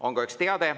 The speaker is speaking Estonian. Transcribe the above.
On ka üks teade.